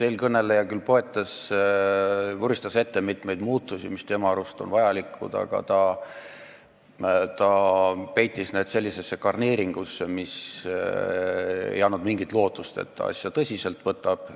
Eelkõneleja küll vuristas ette mitmeid muutusi, mis tema arust on vajalikud, aga ta peitis need sellisesse garneeringusse, mis ei andnud mingit lootust, et ta asja tõsiselt võtab.